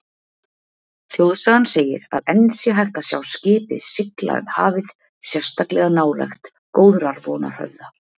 Þjóðsagan segir að enn sé hægt að sjá skipið sigla um hafið sérstaklega nálægt Góðrarvonarhöfða.